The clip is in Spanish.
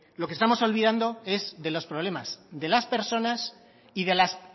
lo que estamos olvidando es de los problemas de las personas y de las